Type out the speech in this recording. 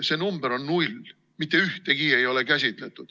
See number on null, mitte ühtegi ei ole käsitletud.